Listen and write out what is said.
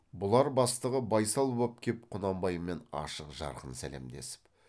бұлар бастығы байсал боп кеп құнанбаймен ашық жарқын сәлемдесіп